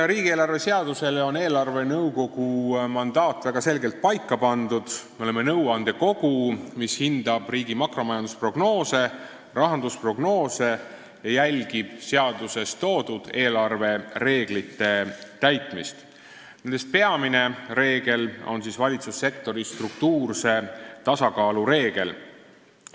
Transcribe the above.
Riigieelarve seaduses on eelarvenõukogu mandaat väga selgelt paika pandud: me oleme nõuandekogu, mis hindab riigi makromajandusprognoose ja rahandusprognoose ning jälgib seaduses toodud eelarvereeglite täitmist, millest peamine on valitsussektori struktuurse tasakaalu reegel.